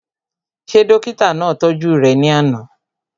Ṣé dókítà náà tọ́jú rẹ̀ ní àná?